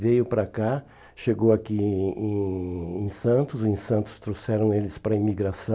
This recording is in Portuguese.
Veio para cá, chegou aqui em em em Santos, em Santos trouxeram eles para a imigração.